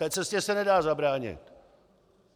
té cestě se nedá zabránit.